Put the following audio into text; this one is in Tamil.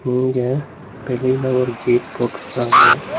இங்க வெளில ஒரு கேட் போட்டுருக்ராங்க.